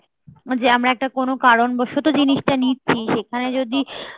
যে আমরা একটা কোনো কারণবসত জিনিসটা নিচ্ছি সেখানে যদি